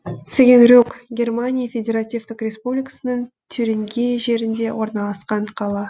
цигенрюк германия федеративтік республикасының тюрингия жерінде орналасқан қала